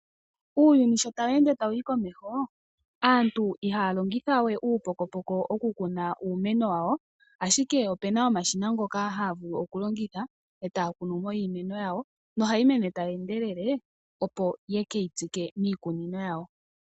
Uuyuni sho tawu ende tawu yi komeho aantu ihaya longithawe uupokopoko okukuna iimeno yawo , ashike opuna omashina ngoka haga vulu okulandithwa , etaya kunumo iimeno yawo nohayi mene tayi endelele opo yekeyi tsike miikununo yawo.